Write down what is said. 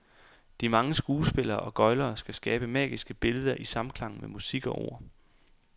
De mange skuespillere og gøglere skal skabe magiske billeder i samklang med musik og ord.